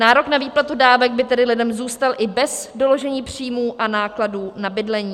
Nárok na výplatu dávek by tedy lidem zůstal i bez doložení příjmů a nákladů na bydlení.